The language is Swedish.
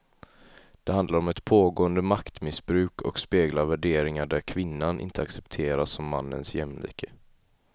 Det handlar om ett pågående maktmissbruk och speglar värderingar där kvinnan inte accepteras som mannens jämlike.